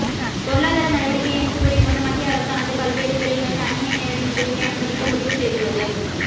பொருளாதார நடவடிக்கை என்று கூறிக்கொண்டு மத்திய அரசானது பல்வேறு துறைகளில் அன்னிய நேரடி முதலீட்டை அனுமதிக்க முடிவு செய்துள்ளது